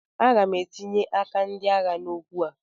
Aga m etinye aka ndị agha n'okwu a